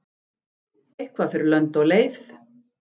Eitthvað fer lönd og leið